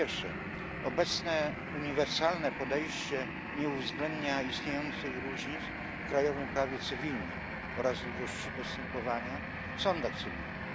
Po pierwsze, obecne uniwersalne podejście nie uwzględnia istniejących różnic w krajowym prawie cywilnym oraz długości postępowania w sądach cywilnych.